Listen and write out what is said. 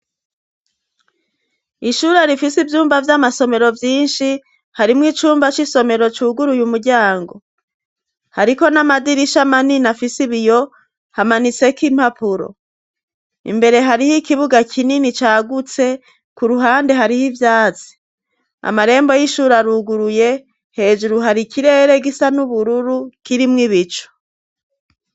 ishure rifise ibyumba vy'amasomero vyinshi harimwo icumba c'isomero cuguruye umuryango. Hariko n'amadirisha amanina fise biyo hamanitse k'impapuro imbere hariho ikibuga kinini cyagutse ku ruhande hariho ibyatsi amarembo y'ishura ruguruye hejuru hari ikirere gisa n'ubururu kirimw ibicu.